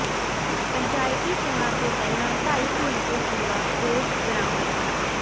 ਪੰਚਾਇਤੀ ਚੋਣਾਂ ਤੋਂ ਪਹਿਲਾਂ ਢਾਈ ਕੁਇੰਟਲ ਚੂਰਾ ਪੋਸਤ ਬਰਾਮਦ